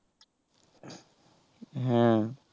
হ্যাঁ